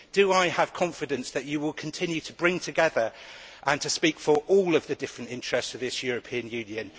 Do I have confidence that you will continue to bring together and to speak for all of the different interests in this European Union?